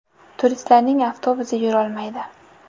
Turistlarning avtobusi yurolmaydi.